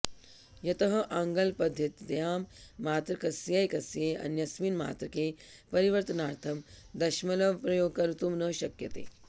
यतः आंग्लपध्दत्यां मात्रकस्यैकस्य अन्यस्मिन् मात्रके परिवर्त्तनार्थं दशमलवप्रयोगः कर्त्तुं न शक्यते